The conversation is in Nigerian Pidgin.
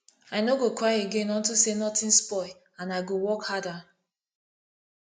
i no go cry again unto say nothing spoil and i go work harder